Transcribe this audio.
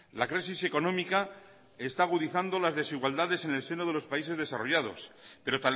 la crisis económica está agudizando las desigualdades en el seno de los países desarrollados pero